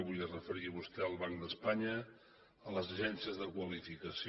avui es referia vostè al banc d’espanya a les agències de qualificació